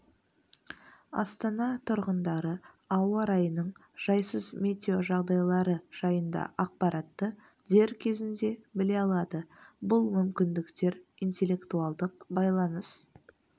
астана тұрғындары ауа райының жайсыз метеожағдайлары жайында ақпаратты дер кезінде біле алады бұл мүмкіндіктер интеллектуалдық байланыс